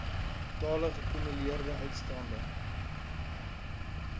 totale geakkumuleerde uitstaande